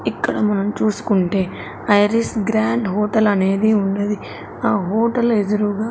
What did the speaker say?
ఇక్కడ మనం చూసుకుంటే ఐరిస్ గ్రాండ్ హోటల్ అనేది ఉన్నది ఆ హోటల్ ఎదురూగా--